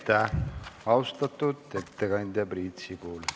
Aitäh, austatud ettekandja Priit Sibul!